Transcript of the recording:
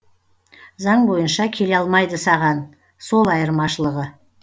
заң бойынша келе алмайды саған сол айырмашылығы